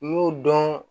N y'o dɔn